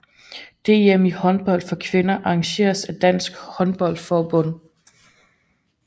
DM i håndbold for kvinder arrangeret af Dansk Håndbold Forbund